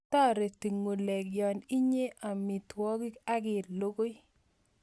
Tareti ng'ulek ya inyee amitwokik akilugui